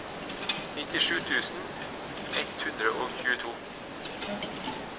nittisju tusen ett hundre og tjueto